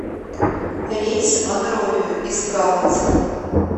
рейс в монровию из галаца